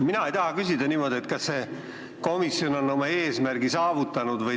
Mina ei taha küsida niimoodi, kas see komisjon on oma eesmärgi täitnud.